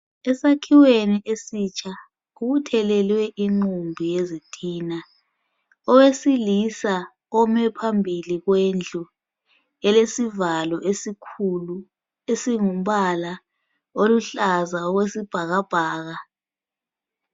Esakhiweni esitsha kubuthelelwe inqumbi yezitina. Owesilisa ome phambili kwendlu elesivalo esikhulu esingumbala oluhlaza okwesibhakabhaka.